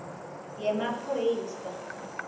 yemaphoyisa